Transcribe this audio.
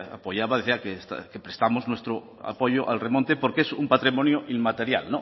apoyaba decía que prestamos nuestro apoyo al remonte porque es un patrimonio inmaterial